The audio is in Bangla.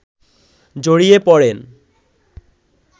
জড়িয়ে পড়েন